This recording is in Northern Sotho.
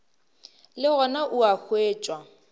le gona o a hwetšwa